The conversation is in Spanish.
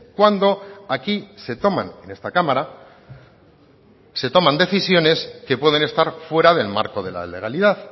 cuando aquí se toman en esta cámara se toman decisiones que pueden estar fuera del marco de la legalidad